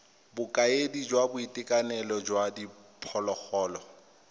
bokaedi jwa boitekanelo jwa diphologolo